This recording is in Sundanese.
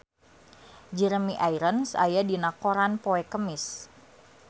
Jeremy Irons aya dina koran poe Kemis